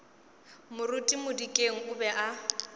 moruti modikeng o be a